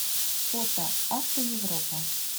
фото автоевропа